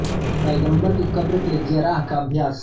पैगंबर की कब्र के लिए जियाराह का अभ्यास